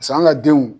Pas'an ka denw